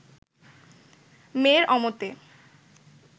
মেয়ের অমতে